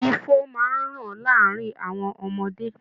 Ifo máa ń ràn láàárin àwọn ọmọdé